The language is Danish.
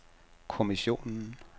kommissionen